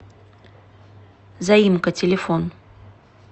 заимка телефон